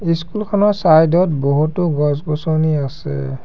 School খনৰ side ত বহুতো গছ-গছনি আছে।